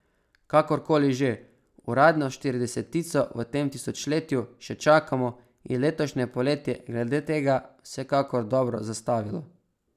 Kakor koli že, uradno štiridesetico v tem tisočletju še čakamo in letošnje poletje je glede tega vsekakor dobro zastavilo.